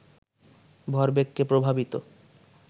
ভরবেগকে প্রভাবিত